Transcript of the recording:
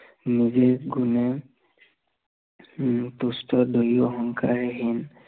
নিজে গুণে উম তুষ্ট দুয়ো সংসাৰহীন